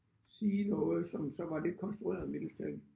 Sige noget som så var lidt konstrueret mildest talt